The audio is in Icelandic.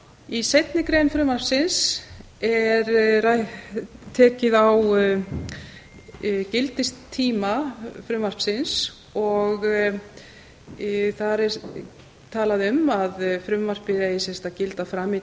í seinni grein frumvarpsins er tekið á gildistíma frumvarpsins og þar er talað um að frumvarpið eigi sem sagt að gilda fram í